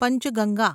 Panchganga